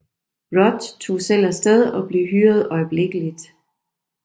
Rudd tog selv af sted og blev hyret øjeblikkeligt